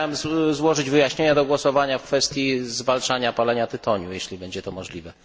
Chciałbym złożyć wyjaśnienia do głosowania w kwestii zwalczania palenia tytoniu, jeśli będzie to możliwe